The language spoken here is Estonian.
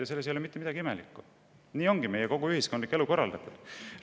Ja selles ei ole mitte midagi imelikku, nii ongi kogu meie ühiskondlik elu korraldatud.